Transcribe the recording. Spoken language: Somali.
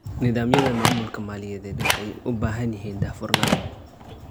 Nidaamyada maamulka maaliyadeed waxay u baahan yihiin daahfurnaan.